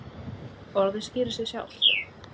Orðið skýrir sig sjálft.